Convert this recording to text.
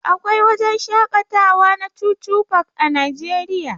Akwai wajen shakatawa na chuchu park a najeriya.